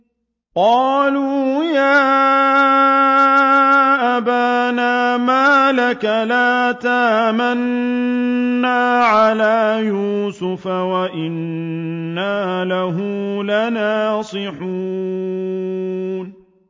قَالُوا يَا أَبَانَا مَا لَكَ لَا تَأْمَنَّا عَلَىٰ يُوسُفَ وَإِنَّا لَهُ لَنَاصِحُونَ